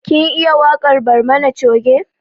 Kin iya waƙar barmani coge?